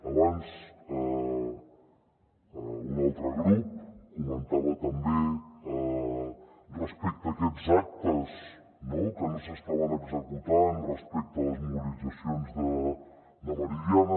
abans un altre grup comentava també respecte a aquests actes no que no s’estaven executant respecte a les mobilitzacions de meridiana